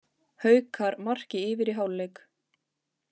Haukar marki yfir í hálfleik